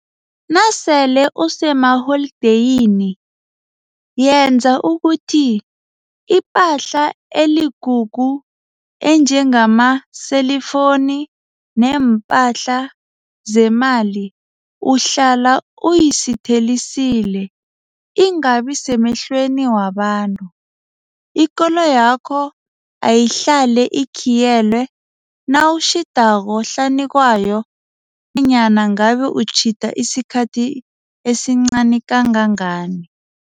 Nasele usemaholideyini, yenza ukuthi ipahla eligugu enjengamaselifoni neempatjhi zemali uhlala uyisithelisile, ingabi semehlweni wabantu. Ikoloyakho ayihlale ikhiyelwe nawutjhidako hlanu kwayo, nanyana ngabe utjhida isikhathi esincani kangangani.